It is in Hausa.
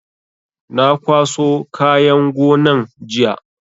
Na kwaso kayan gonan jiya